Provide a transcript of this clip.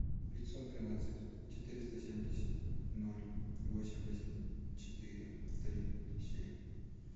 пятьсот двенадцать четыреста семьдесят ноль восемьдесят четыре три семь